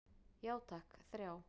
Já takk, þrjá.